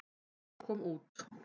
Maður kom út.